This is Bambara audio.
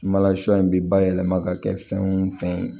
Sumala sɔ in bɛ bayɛlɛma ka kɛ fɛn wo fɛn ye